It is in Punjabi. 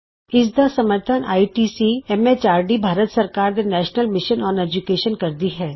ਇਸ ਦਾ ਸਮਰੱਥਨ ਆਈਸੀਟੀ ਐਮ ਐਚਆਰਡੀ ਭਾਰਤ ਸਰਕਾਰ ਦੇ ਨੈਸ਼ਨਲ ਮਿਸ਼ਨ ਅੋਨ ਏਜੂਕੈਸ਼ਨ ਕਰਦੀ ਹੈ